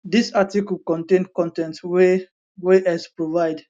dis article contain con ten t wey wey x provide